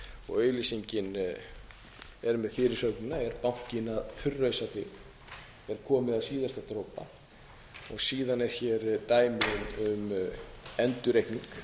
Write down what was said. og auglýsingin er með fyrirsögnina er bankinn að þurrausa þig er komið að síðasta dropa síðan er hér dæmi um endurreikning